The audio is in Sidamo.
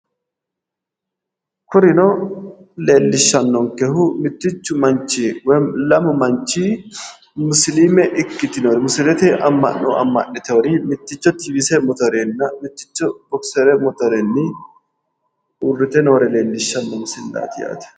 kurino leellishshannonkehu mittichu manchi woyiimmi lamu manchi musiliimete amma'no amma'niteyoori mitticho tiivise motorenninna mitticho bokisere motorenni uurrite noore leelishshanno misileeti